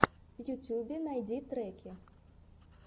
в ютюбе найди треки